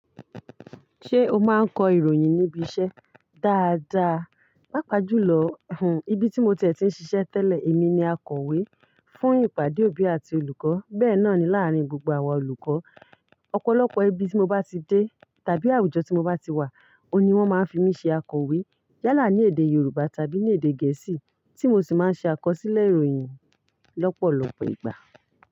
Ṣé o máa ń kọ ìròyìn níbi iṣẹ́? Dáadáa, papàjùlọ, ibi tí mo ti e tí ń ṣiṣẹ́ tẹ́lẹ̀ èmi ni akọ̀wé fún ìpàdé òbí àti olùkọ́. Bẹ́ẹ̀ náà ni láàárín gbogbo àwọn olùkọ́, ọ̀pọ̀lọpọ̀ ibi tí mo bá ti dé tàbí àwùjọ tí mo bá ti wà, ó ní wọ́n máa ń fi mí ṣe akọ̀wé. Yálà ní èdè Yorùbá tàbí ní èdè Gẹ̀ẹ́sì tí mo sì máa ń ṣe àkọsílẹ̀ ìròyìn lọ́pọ̀lọpọ̀ ìgbà.